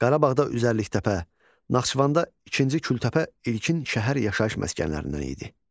Qarabağda Üzərliktəpə, Naxçıvanda İkinci Kültəpə ilkin şəhər yaşayış məskənlərindən idi.